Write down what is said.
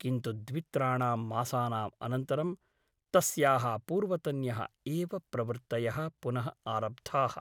किन्तु द्वित्राणां मासानाम् अनन्तरं तस्याः पूर्वतन्यः एव प्रवृत्तयः पुनः आरब्धाः ।